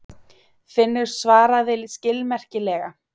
Finnur svaraði skilmerkilega.